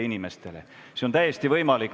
See on täiesti võimalik.